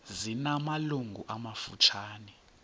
zina malungu amafutshane